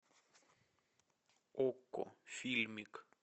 окко фильмик